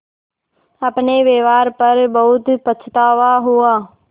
अपने व्यवहार पर बहुत पछतावा हुआ